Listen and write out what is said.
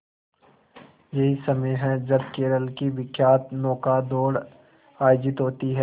यही समय है जब केरल की विख्यात नौका दौड़ आयोजित होती है